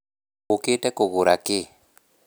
Ũũkĩte kũgũra kĩĩ?